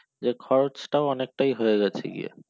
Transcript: যে খরচটা অনেকটাই হয়ে গেছে গিয়ে